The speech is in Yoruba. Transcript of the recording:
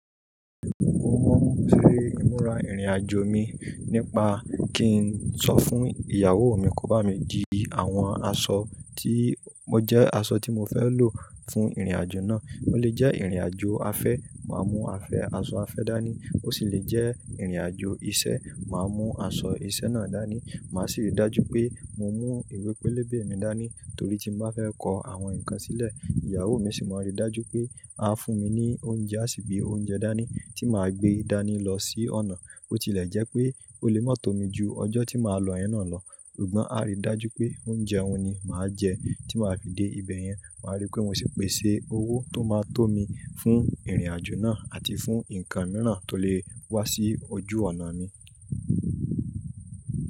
Mo mọ ferè, imura ìrìnàjò mi nípa kí n sọ fún ìyàwó mi kó bá mi di àwọn aṣọ tí mo jẹ́ aṣọ tí mo fẹ́ lò fún ìrìnàjò náà. Ó lè jẹ́ ìrìnàjò afẹ́, màá mú afẹ́, aṣọ afẹ́ dání. Ó sì lè jẹ́ ìrìnàjò iṣẹ́, màá mú aṣọ iṣẹ́ náà dání. Màá sì ri dájú pé mo mú ìwé pélébé mi dání torí tí mo bá fẹ́ kọ àwọn nǹkan sílẹ̀. Ìyàwó mi sì máa rí dájú pé a fún mi ní oúnjẹ àṣì gbé oúnjẹ dání tí màá gbé dání lọ sí ọ̀nà. Bó tilẹ̀ jẹ́ pé ó lè má tómi ju ọjọ́ tí màá lọ yẹn náà lọ, ṣùgbọ́n a rí dájú pé oúnjẹ òun ni màá jẹ tí màá fi dé ibẹ̀ yẹn. Màá rí pé mo sì pèsè owó tó máa tó mi fún ìrìnàjò náà àti fún nǹkan mìíràn tó lè wá sí ojú ọ̀nà mi.